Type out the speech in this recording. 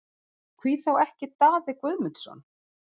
Hví þá ekki Daði Guðmundsson?